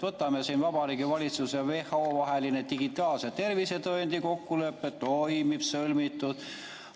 Võtame siin Vabariigi Valitsuse ja WHO vahelise digitaalse tervisetõendi kokkuleppe – toimib, sõlmitud.